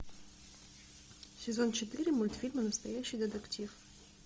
сезон четыре мультфильма настоящий детектив